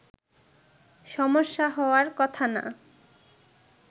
সমস্যা হওয়ার কথা না”